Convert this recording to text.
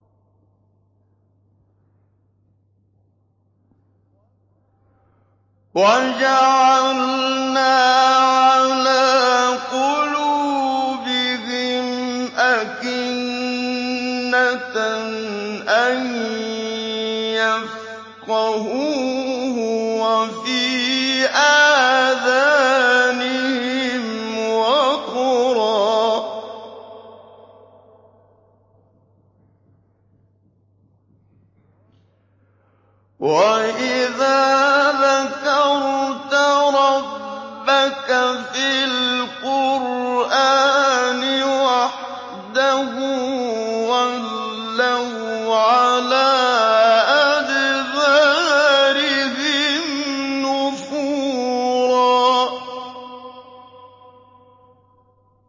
وَجَعَلْنَا عَلَىٰ قُلُوبِهِمْ أَكِنَّةً أَن يَفْقَهُوهُ وَفِي آذَانِهِمْ وَقْرًا ۚ وَإِذَا ذَكَرْتَ رَبَّكَ فِي الْقُرْآنِ وَحْدَهُ وَلَّوْا عَلَىٰ أَدْبَارِهِمْ نُفُورًا